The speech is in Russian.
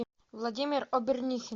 владимир обернихин